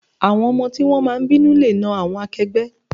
Àwọn ọmọ tí wón máa ń bínú le náà àwọn akẹgbẹ́.